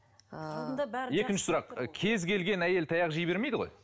ыыы екінші сұрақ кез келген әйел таяқ жей бермейді ғой